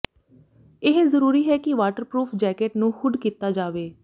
ਇਹ ਜ਼ਰੂਰੀ ਹੈ ਕਿ ਵਾਟਰਪ੍ਰੂਫ ਜੈਕੇਟ ਨੂੰ ਹੁੱਡ ਕੀਤਾ ਜਾਵੇ